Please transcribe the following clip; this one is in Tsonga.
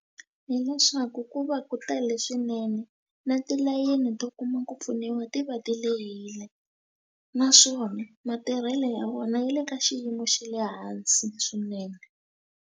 Hileswaku ku va ku tele swinene na tilayini to kuma ku pfuniwa ti va ti lehile naswona matirhelo ya vona ya le ka xiyimo xa le hansi swinene.